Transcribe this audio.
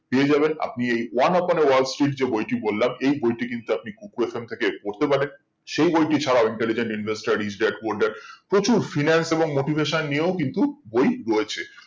পেয়ে যাবেন আপনি এই one up on wall street যেই বইটি বললাম এই বইটি কিন্তু kuku FM থেকে পড়তে পড়েন সেই বইটি ছাড়া interlligent investor product প্রচুর finance motivation নিয়েও কিন্তু বই রয়েছে